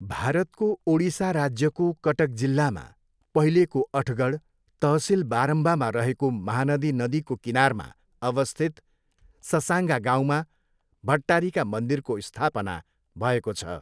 भारतको ओडिसा राज्यको कटक जिल्लामा, पहिलेको अठगढ, तहसिल बारम्बामा रहेको महानदी नदीको किनारमा अवस्थित ससाङ्गा गाउँमा, भट्टारिका मन्दिरको स्थापना भएको छ।